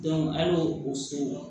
an y'o o so